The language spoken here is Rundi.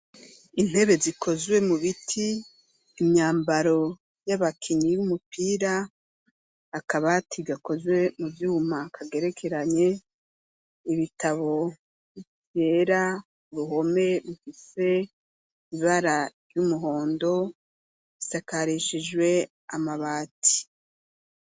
Intebe zikozwe mu biti, imyambaro y'abakinyi y'umupira, Akabati gakozwe mu vyuma kagerekeranye, ibitabo vyera, ruhome rufise ibara ry'umuhondo, isakarishijwe amabati.